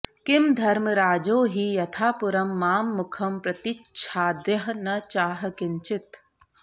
किं धर्मराजो हि यथापुरं मां मुखं प्रतिच्छाद्य न चाह किंचित्